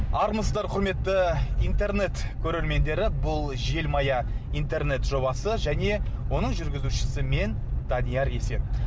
армысыздар құрметті интернет көрермендері бұл желмая интернет жобасы және оның жүргізушісі мен данияр есен